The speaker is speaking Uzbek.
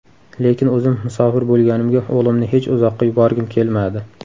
Lekin o‘zim musofir bo‘lganimga o‘g‘limni hech uzoqqa yuborgim kelmadi.